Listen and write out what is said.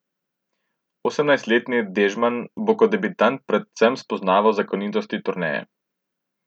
Osemnajstletni Dežman bo kot debitant predvsem spoznaval zakonitosti turneje.